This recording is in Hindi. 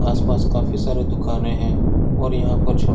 आस पास काफी सारे दुकाने है और यहाँ पर छो --